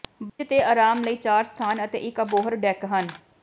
bridge ਤੇ ਆਰਾਮ ਲਈ ਚਾਰ ਸਥਾਨ ਅਤੇ ਇੱਕ ਅਬੋਹਰ ਡੈੱਕ ਹਨ